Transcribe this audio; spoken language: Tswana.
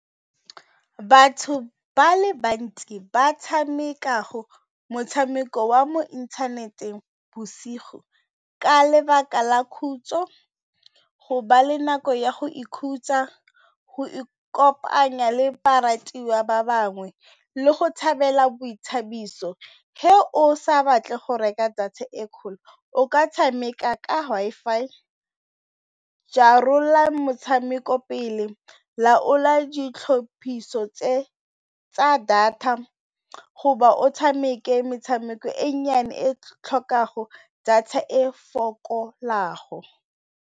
Batho ba le bantsi ba tshamekago motshameko wa mo inthaneteng bosigo ka lebaka la khutso, go ba le nako ya go ikhutsa go ikopanya le baratuwa ba bangwe le go tshabela boithabiso ge o sa batle go reka e kgolo o ka tshameka ka Wi-Fi motshameko pele, laola ditlhophiso tse tsa data hoba o tshameke metshameko e nnyane e tlhokago data e fokolago.